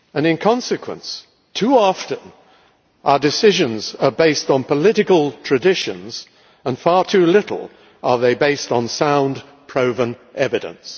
In consequence, too often our decisions are based on political traditions, and far too seldom are they based on sound, proven evidence.